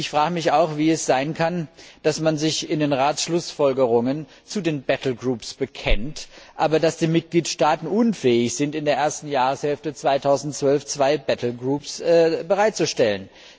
Ich frage mich auch, wie es sein kann, dass man sich in den Schlussfolgerungen des Rates zu den Gefechtsverbänden bekennt, aber dass die Mitgliedstaaten unfähig sind, in der ersten Jahreshälfte 2012 zwei Gefechtsverbände bereitzustellen.